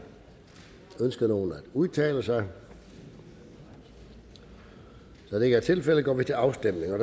ønsker nogen at udtale sig da det ikke er tilfældet går vi til afstemning